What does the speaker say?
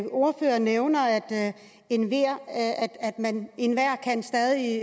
ordføreren nævner at enhver stadig